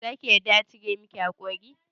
Za ki yarda a cire miki haƙori?